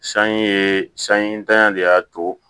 San ye san in ntanya de y'a to